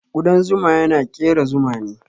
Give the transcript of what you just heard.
Kudan zuma yana kera Zuma ne.